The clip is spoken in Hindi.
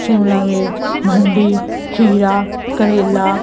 शिमला मिर्च भिन्डी खीरा करेला--